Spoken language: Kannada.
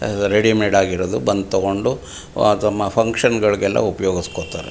ಆದ ರೆಡಿಮೇಡ್ ಆಗಿರುವುದ ಬಂದ್ ತಕೊಂಡು ಅತಮ್ಮ ಫ್ಯಾಂಕ್ಷನ್ ಗಳಿಗೆಲ್ಲ ಉಪಯೋಗಿಸ್ತಾರೆ .